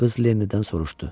Qız Lennidən soruşdu.